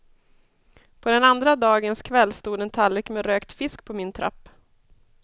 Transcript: På den andra dagens kväll stod en tallrik med rökt fisk på min trapp.